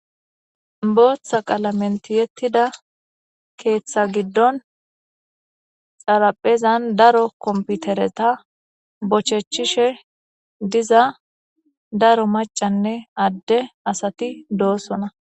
Booththa qalamenti yettida keeththa giddon xaraphezan daro komputereta bochechishe diza daro macanne adde asati doosona.